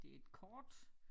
Det et kort